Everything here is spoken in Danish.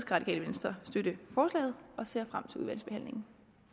radikale venstre støtte forslaget og ser frem til udvalgsbehandlingen